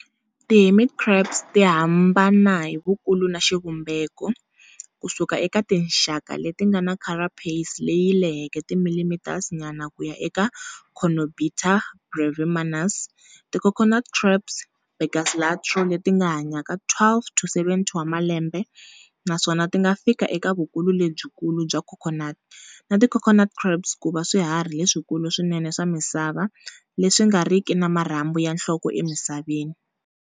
Ti hermit crabs tihambana hi vukulu na xivumbeko, kusuka eka tinxaka letingana carapace leyi leheke ti millimeters nyana kuya eka Coenobita brevimanus, ti coconut crabs Birgus latro, letinga hanyaka 12-70 wa malembe naswona tinga fika eka vukulu lebyikulu bya coconut, na ti coconut crabs ku va swiharhi leswikulu swinene swa misava leswi nga riki na marhambu ya nhloko emisaveni.